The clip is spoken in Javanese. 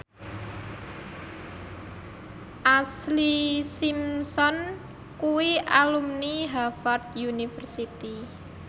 Ashlee Simpson kuwi alumni Harvard university